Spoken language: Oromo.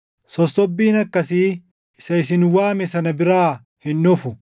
Sossobbiin akkasii isa isin waame sana biraa hin dhufu.